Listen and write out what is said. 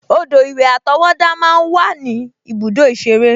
Odò-ìwẹ̀ àtọwọ́dá máa ń wà ní ibùdó ìṣeré